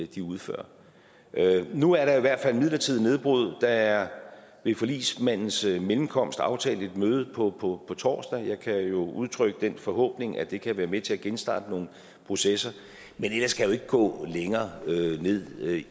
de udfører nu er der i hvert fald et midlertidigt nedbrud der er ved forligsmandens mellemkomst aftalt et møde på på torsdag jeg kan jo udtrykke den forhåbning at det kan være med til at genstarte nogle processer men ellers kan jeg jo ikke gå længere ned